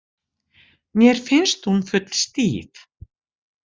Mér finnst hún full stíf